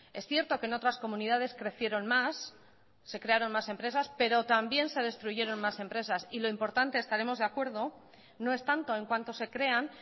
es cierto que en otras comunidades crecieron más se crearon más empresas pero también se destruyeron más empresas y lo importante estaremos de acuerdo no es tanto en cuanto se crean